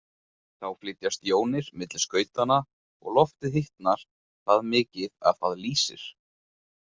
Þá flytjast jónir milli skautanna og loftið hitnar það mikið að það lýsir.